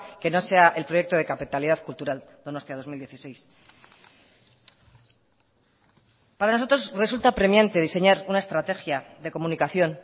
que no sea el proyecto de capitalidad cultural donostia dos mil dieciséis para nosotros resulta apremiante diseñar una estrategia de comunicación